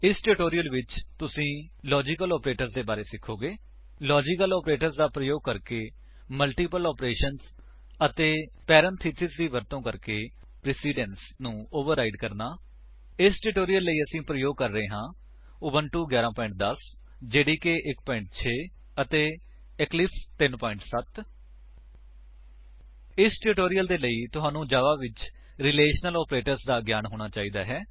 ਇਸ ਟਿਊਟੋਰਿਅਲ ਵਿੱਚ ਤੁਸੀ ਲਾਜੀਕਲ ਆਪਰੇਟਰਜ਼ ਦੇ ਬਾਰੇ ਸਿਖੋਗੇ ਲਾਜੀਕਲ ਆਪਰੇਟਰਜ਼ ਦਾ ਪ੍ਰਯੋਗ ਕਰਕੇ ਮਲਟੀਪਲ ਏਕਸਪ੍ਰੇਸ਼ੰਸ ਅਤੇ ਪੇਰਾਂਥੇਸਿਸ ਦੀ ਵਰਤੋ ਕਰਕੇ ਪ੍ਰੇਸਿਡੰਸ ਨੂੰ ਓਵਰਰਾਇਡ ਕਿਵੇਂ ਕਰੀਏ 160 ਇਸ ਟਿਊਟੋਰਿਅਲ ਲਈ ਅਸੀ ਪ੍ਰਯੋਗ ਕਰ ਰਹੇ ਹਾਂ ਉਬੁੰਟੂ 11 10 ਜੇਡੀਕੇ 1 6 ਅਤੇ ਇਕਲਿਪਸ 3 7 ਇਸ ਟਿਊਟੋਰਿਅਲ ਦੇ ਲਈ ਤੁਹਾਨੂੰ ਜਾਵਾ ਵਿੱਚ ਰੀਲੇਸ਼ਨਲ ਆਪਰੇਟਰਜ਼ ਦਾ ਗਿਆਨ ਹੋਣਾ ਚਾਹੀਦਾ ਹੈ